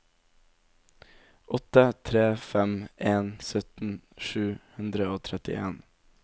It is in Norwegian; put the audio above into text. åtte tre fem en sytten sju hundre og trettien